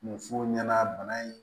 Musow ɲɛna bana in